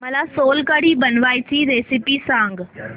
मला सोलकढी बनवायची रेसिपी सांग